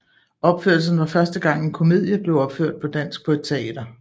Opførelsen var første gang en komedie blev opført på dansk på et teater